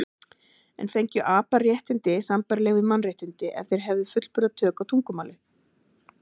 En fengju apar réttindi sambærileg við mannréttindi ef þeir hefðu fullburða tök á tungumáli?